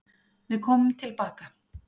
Við komum tilbaka.